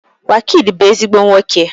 Wizkid bu ezigbo nwoke